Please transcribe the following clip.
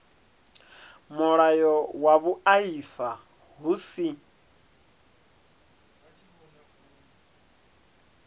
mulayo wa vhuaifa hu si